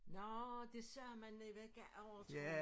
Nårh det sagde man i vække overtro